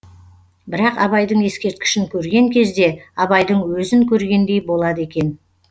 бірақ абайдың ескерткішін көрген кезде абайдың өзін көргендей болады екен